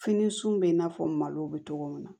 Fini sun bɛ in n'a fɔ malo bɛ cogo min na